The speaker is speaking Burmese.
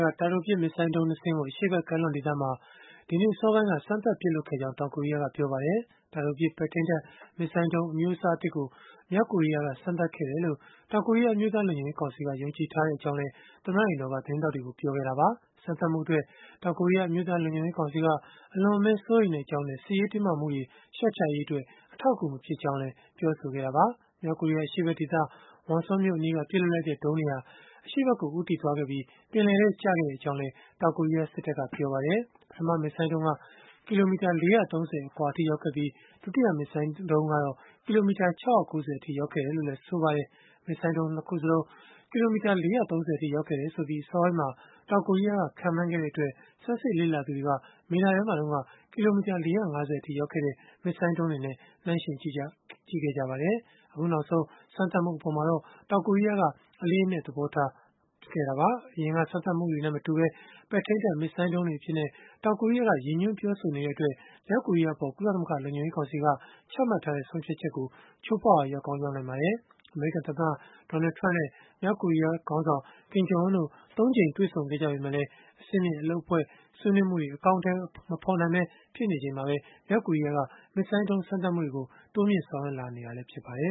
က တာတိုပစ် မစ်ဇိုင်းဒုံး ၂ စင်းကို အရှေ့ဖက် ကမ်းလွန်ဒေသမှာ ဒီနေ့အစောပိုင်းက စမ်းသပ်ပစ်လွှတ်ခဲ့ကြောင်း တောင်ကိုရီးယားက ပြောပါတယ်။ တာတိုပစ် ပဲ့ထိန်းတပ် မစ်ဇိုင်းဒုံး အမျိုးအစားသစ်ကို မြောက်ကိုရီးယားက စမ်းသပ်ခဲ့တယ်လို့ တောင်ကိုရီးယား အမျိုးသား လုံခြုံရေးကောင်စီက ယုံကြည်ထားကြောင်းလည်း သမ္မတအိမ်တော်က သတင်းထောက်တွေကို ပြောဆိုခဲ့တာပါ။ စမ်းသပ်မှုအတွက် တောင်ကိုရီးယား အမျိုးသားလုံခြုံရေးကောင်စီက အလွန်အမင်း စိုးရိမ်ကြောင်းနဲ့ စစ်ရေး တင်းမာမှုတွေ လျှော့ချရေးအတွက် အထောက်အကူ မဖြစ်ကြောင်းလည်း ပြောဆိုခဲ့တာပါ။ မြောက်ကိုရီးယား အရှေ့ဖက်ဒေသ Wonsan မြို့အနီးက ပစ်လွှတ်လိုက်တဲ့ ဒုံးတွေဟာ အရှေ့ဖက်ကို ဦးတည်သွားခဲ့ပြီး ပင်လယ်ထဲကျခဲ့ကြောင်းလည်း တောင်ကိုရီးယား စစ်တပ်က ပြောပါတယ်။ ပထမ မစ်ဇိုင်းဒုံးက ကီလိုမီတာ ၄၃၀ အကွာအထိ ရောက်ခဲ့ပြီး၊ ဒုတိယမစ်ဇိုင်းကတော့ ကီလိုမီတာ ၆၉၀ အထိ ရောက်ခဲ့တယ်လို့လည်း ဆိုပါတယ်။ မစ်ဇိုင်းဒုံး ၂ ခုစလုံးဟာ ကီလိုမီတာ ၄၃၀ အထိရောက်ခဲ့ကြောင်း အစောပိုင်းမှာ တောင်ကိုရီးယားက ခန့်မှန်းခဲ့တဲ့အတွက် ဆန်းစစ်လေ့လာသူတွေက မေလထဲမှာ ကီလိုမီတာ ၄၅၀ အထိ ရောက်ခဲ့တဲ့ မစ်ဇိုင်းဒုံးတွေနဲ့ နှိုင်းယှဉ်ကြည့်ခဲ့ကြတာပါ။ အခုနောက်ဆုံး စမ်းသပ်မှု အပေါ်မှာတော့ တောင်ကိုရီးယားက အလေးအနက် သဘောထားခဲ့ပါတယ်။ အရင်က စမ်းသပ်မှုမျိုးနဲ့ မတူဘဲ ပဲ့ထိန်းတပ် မစ်ဇိုင်းဒုံးတွေအဖြစ် တောင်ကိုရီးယားက ရည်ညွှန်းပြောဆိုနေတဲ့အတွက် မြောက်ကိုရီးယားအပေါ် ကုလသမဂ္ဂ လုံခြုံရေးကောင်စီက ချမှတ်ထားတဲ့ ဆုံးဖြတ်ချက်ကို ချိုးဖောက်ရာ ရောက်ကောင်းရောက်နိုင်ပါတယ်။ အမေရိကန်သမ္မတ Donald Trump နဲ့ မြောက်ကိုရီးယားခေါင်းဆောင် Kim Jong Un တို့ ၃ ကြိမ် တွေ့ဆုံခဲ့ကြပေမဲ့လည်း အဆင့်မြင့် အလုပ်အဖွဲ့ ဆွေးနွေးမှုတွေ အကောင်အထည် မဖော်နိုင်ပဲ ဖြစ်နေချိန်မှာပဲ မြောက်ကိုရီးယားက မစ်ဇိုင်းဒုံးစမ်းသပ်မှုတွေ လုပ်လာနေတာလည်း ဖြစ်ပါတယ